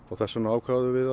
þess vegna ákváðum við